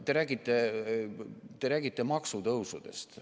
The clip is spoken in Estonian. Te räägite maksutõusudest.